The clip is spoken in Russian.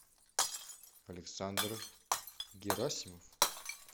александр герасимов